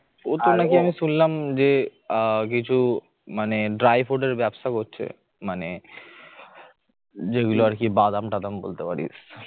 অত নাকি শুনলাম যে আহ কিছু মানে dry food এর ব্যবসা করছে মানে যেগুলো আর কি বাদাম টাদাম বলতে পারিস